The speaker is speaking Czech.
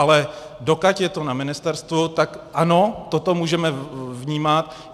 Ale dokud je to na ministerstvu, tak ano, toto můžeme vnímat.